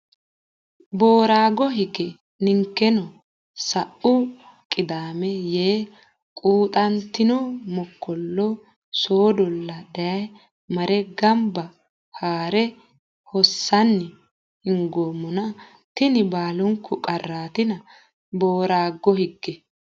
Boorago Hige ninkeno sa u Qidaame Yee quxantino mokkollo soodolla Daayye marre gonbe haa re hossanni hingoommona tini baalunku qarraatina Boorago Hige.